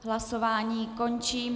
Hlasování končím.